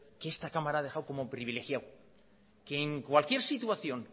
que esta cámara ha dejado como privilegiado que en cualquier situación